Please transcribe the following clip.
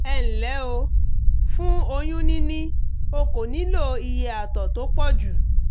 ẹ ǹlẹ́ o! fún oyún níní o kò nílò iye àtọ̀ tó pọ̀jù